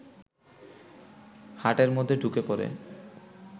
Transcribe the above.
হাটের মধ্যে ঢুকে পড়ে